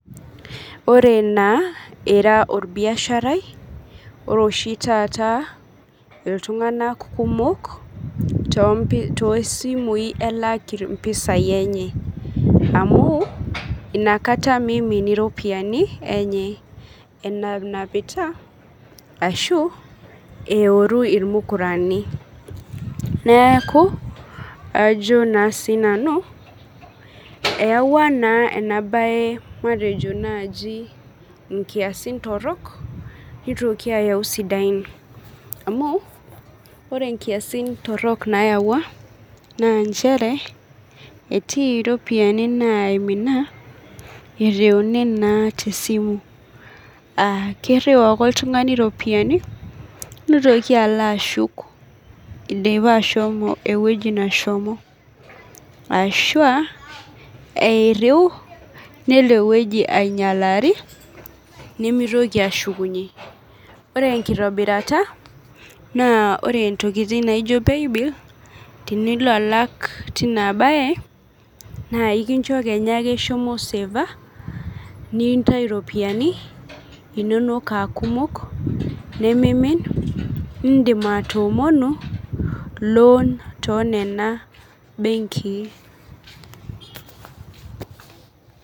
Ore naa taata ira orbiashari ,ore oshi taat iltungank kumok toosimui elaki mpisai enye, amu inakata meimin iropiyiani enye enapita ashu oeru irmukurani ,neeku eyawua ena bae nkiasin torok nitoki ayau sidain amu ore nkiasin torok nayaua naa nchere etii ropiyiani naimina ereuni naa tesimu aakiriu ake oltungani ropiyiani nitoki alo ashuk eshomo eweji neshomo ashu eiriu nelo ainyalaki nimitoki aashukunye, ore enkitobirata naa ore ntokiting naijo paybil tinilo alak tina bae naa ekincho ake isaafa ,nintayu ropiyiani nonok aa kumok nindim atoomonu loon tonena benkin.